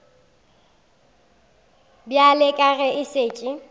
bjale ka ge a šetše